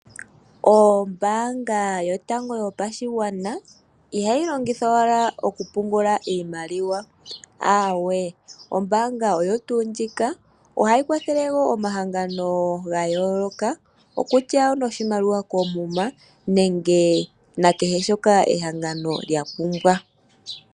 Ombaanga yotango yopashigwana ihayi longithwa owala okupungula iimaliwa, aawee. Ombaanga oyo tuu ndjika ohayi kwathele wo omahangano ga yooloka okutya onoshimaliwa koomuma nenge nakehe shoka ehangano lya pumbwa.